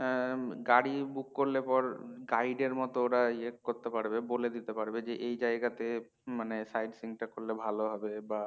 হম গাড়ী book করলে পর guide এর মতোওরা ইয়ে করতে পারবে বলে দিতে পারবে মানে এই জায়গাতে মানে side seeing টা করলে ভালো হবে বা